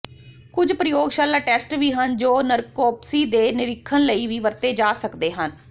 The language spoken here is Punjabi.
ਕੁਝ ਪ੍ਰਯੋਗਸ਼ਾਲਾ ਟੈਸਟ ਵੀ ਹਨ ਜੋ ਨਰਕੋਪਸੀ ਦੇ ਨਿਰੀਖਣ ਲਈ ਵੀ ਵਰਤੇ ਜਾ ਸਕਦੇ ਹਨ